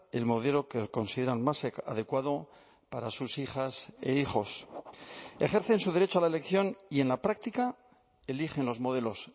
el modelo que consideran más adecuado para sus hijas e hijos ejercen su derecho a la elección y en la práctica eligen los modelos